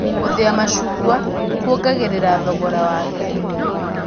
Gũthĩa macungwa kuongagĩrĩra thorogora wake